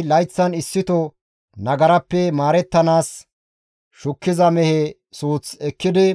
Aarooney layththan issito nagarappe maarettanaas shukkiza mehe suuth ekkidi